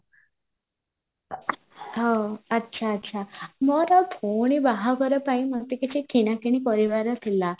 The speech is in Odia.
ହଁ ଆଚ୍ଛା ଆଚ୍ଛା ମୋର ଭଉଣୀ ବାହାଘର ପାଇଁ ମତେ କିଛି କିଣା କିଣି କରିବାର ଥିଲା